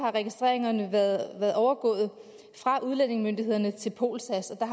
er registreringerne overgået fra udlændingemyndighederne til polsas og